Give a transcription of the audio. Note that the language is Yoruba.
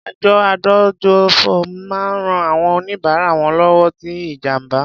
Àjọ adójútòfò máa ń rán àwọn oníbárà wọn lọ́wọ́ tí ìjàǹbá.